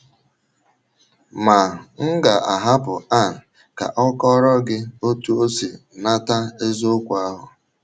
Ma m ga - ahapụ Ann ka ọ kọọrọ gị otú o si nata eziokwu ahụ.